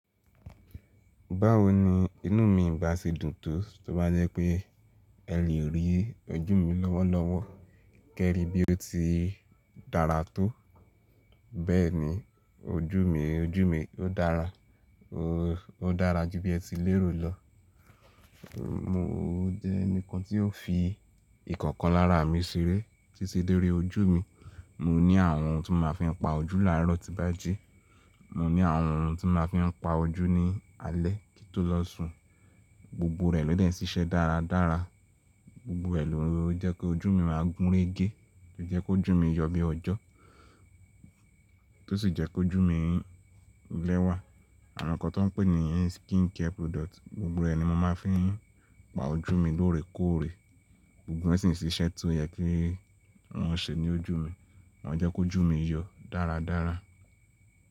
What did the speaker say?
Báwo ni inú mi gbà ṣe dùn tó, tó bá jẹ́ pé ẹ lè rí ojú mi lọ́wọ́lọ́wọ́, kí ẹ rí bí ó ti dára tó. Bẹ́ẹ̀ ni ojú mi, ojú mi ó dára. Ó dára jù bí ẹ ti lérò lọ. Mo jẹ́ ẹni kan tí ó fi ìkankan lára mi ṣeré, títí dé orí ojú mi. Mo ní àwọn ohun tí máa fi ń pa ojú láàárọ̀ tí bá ji. Mo ní àwọn ohun tí máa fi ń pa ojú ní alẹ́ kí n tó lọ sùn. Gbogbo rẹ̀ ló dẹ̀ ń ṣiṣẹ́ dáradára. Gbogbo ẹ́ ló ń jẹ́ kí ojú mi máa gúnrégé, tó jẹ́ kí ojú mi yọ bí ọjọ́, tó sì jẹ́ kí ojú mi lẹ́wà. Àwọn nǹkan tó pè ní yẹn skincare product, gbogbo rẹ̀ ni mo máa ń fi pa ojú mi lóore kóòre. Gbogbo ẹ́ sì ń ṣiṣẹ́ tó yẹ kí wọ́n ṣe ní ojú mi. Wọ́n jẹ́ kí ojú mi yọ dáradára.